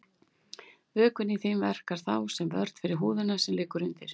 Vökvinn í þeim verkar þá sem vörn fyrir húðina sem liggur undir.